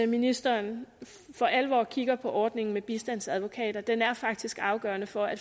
ministeren for alvor kigger på ordningen med bistandsadvokater den er faktisk afgørende for at